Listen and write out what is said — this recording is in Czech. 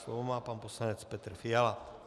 Slovo má pan poslanec Petr Fiala.